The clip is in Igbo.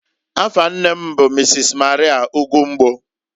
Afa nne m bụ Mrs. Maria Ugwumgbo.